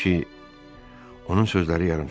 Çünki onun sözləri yarımçıq qaldı.